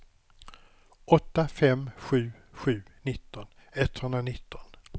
åtta fem sju sju nitton etthundranitton